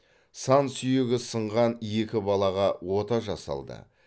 сан сүйегі сынған екі балаға ота жасалды